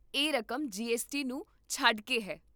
ਇਹ ਰਕਮ G S T ਨੂੰ ਛੱਡ ਕੇ ਹੈ